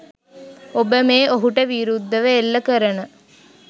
ඔබ මේ ඔහුට විරුද්ධව එල්ල කරන